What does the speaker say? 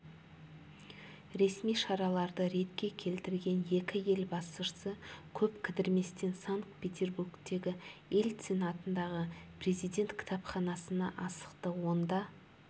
ресми шараларды ретке келтірген екі ел басшысы көп кідірместен санкт-петербургтегі ельцин атындағы президент кітапханасына асықты онда